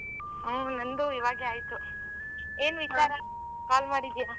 ಹಾ ನಂದು ಈವಾಗ್ಲೇ ಆಯ್ತು ಏನ್ ವಿಚಾರಾ call ಮಾಡಿದೀಯ?